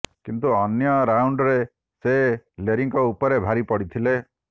କିନ୍ତୁ ଅନ୍ୟ ରାଉଣ୍ଡରେ ସେ ଲେରୀଙ୍କ ଉପରେ ଭାରି ପଡିଥିଲେ